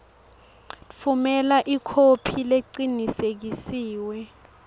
tfumela ikhophi lecinisekisiwe